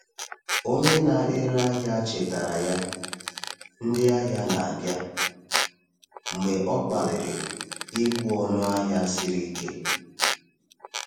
Onye na-ere ahịa chetara ya, “Ndị ahịa na-abịa,” mgbe ọ gbalịrị ịkwụ ọnụ ahịa siri ike.